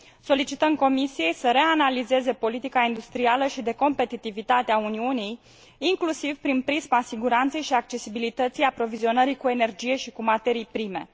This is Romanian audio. Solicităm Comisiei să reanalizeze politica industrială și de competitivitate a Uniunii, inclusiv prin prisma siguranței și accesibilității aprovizionării cu energie și cu materii prime.